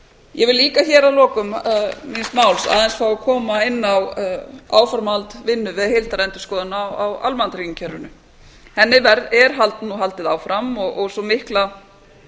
ég vil líka hér að lokum míns máls aðeins fá að koma inn á áframhald vinnu við heildarendurskoðun á almannatryggingakerfinu henni er nú haldið áfram og sú mikla